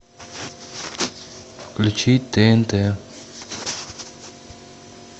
включи тнт